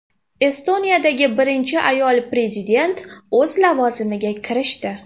Estoniyadagi birinchi ayol prezident o‘z lavozimiga kirishdi.